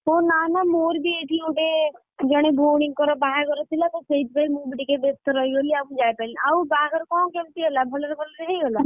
ଓ ନାମ ମୋର ବି ଏଇଠି ଗୋଟେ, ଜଣେ ଭଉଣୀଙ୍କର ବାହାଘର ଥିଲା ତ ସେଇଥିପାଇଁ ମୁଁ ବିଟିକେ ବେସ୍ତ ରହିଗଲି ଆଉ ଯାଇପାରିଲିନିଆଉ ବାହାଘର କଣ କେମିତି ହେଲା, ଭଲରେ ଭଲରେ ହେଇଗଲା?